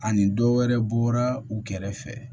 Ani dɔ wɛrɛ bɔra u kɛrɛfɛ